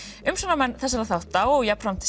umsjónarmenn þessara þátta og jafnframt